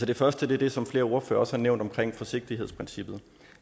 det første er det som flere ordførere også har nævnt om forsigtighedsprincippet